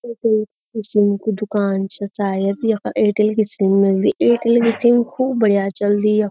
इख यु ई सिम कु दुकान छ शायद यखा एयरटेल की सिम मिलदी एयरटेल की सिम खूब बढ़िया चलदी यख।